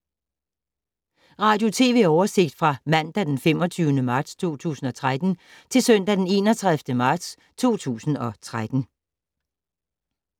Radio/TV oversigt fra mandag d. 25. marts 2013 til søndag d. 31. marts 2013